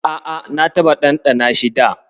A'a, na taɓa ɗanɗana shi da.